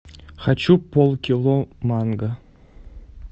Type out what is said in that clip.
хочу полкило манго